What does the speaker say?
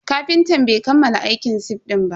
Kafintan bai kammala aikin sif din ba.